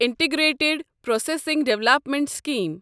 integrated processing development scheme